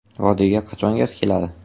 Vodiyga qachon gaz keladi?